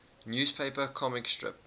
newspaper comic strip